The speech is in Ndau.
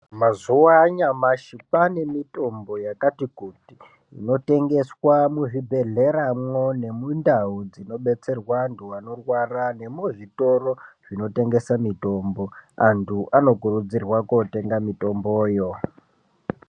Mazuwa anyamashi kwane mitombo yakati kuti inotengeswa muzvibhedhleramwo nemundau dzinobetserwa andu anorwara nemuzvitoro zvinotengesa mitombo andu anokurudzirwa kotenga mitomboyo.